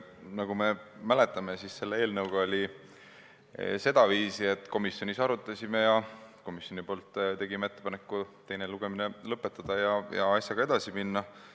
Nagu me mäletame, siis selle eelnõuga oli sedaviisi, et me komisjonis arutasime ja tegime komisjoni nimel ettepaneku teine lugemine lõpetada ja asjaga edasi minna.